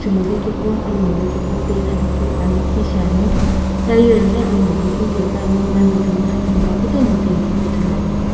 chumovekeqo alomovekeqo peitha vekeu aa lakhi shiani tire ghi alomovekeu piye puani ena timina aphemgha kutomo pe keu ithuluani.